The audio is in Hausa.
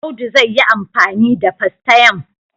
Audu zai yi amfani da fastayam.